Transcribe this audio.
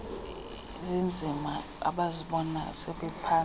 zinzima abazibona sebephantsi